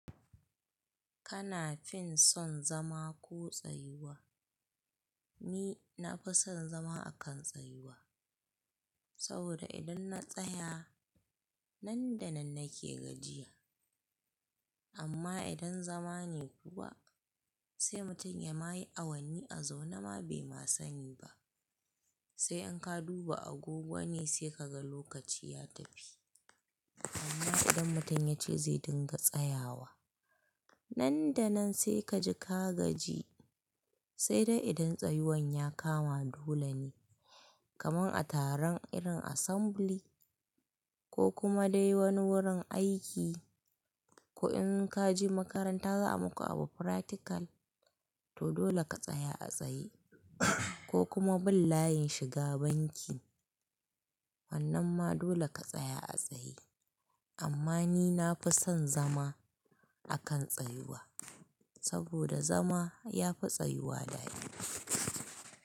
Kana fin son zama ko tsayuwa? Ni na fi son zama a kan tsayuwa saboda idon na tsaya nan da nan nake gajiya amma idon zama ne kuwa sai mutum yamayi awanni a zaune bai ma sani ba. Sai in ka duba agogo ne sai ka ga lokaci ya tafi amma idan mutum yace zai dinga tsayawa nan da nan sai kaji ka gaji sai dai idon tseyuwan yakama dole ne kaman a taron irin assembly ko kuma dai woni wurin aiki ko in kaje makaranta za'a muku abu practical to dole ka tsaya a tsaye. Ko kuma bin layin shiga banki wannan ma dole ka tsaya a tsaye amma ni nafi son zama akan tsayuwa saboda zama yafi tsayuwa daɗi.